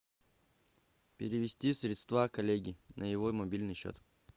перевести средства коллеге на его мобильный счет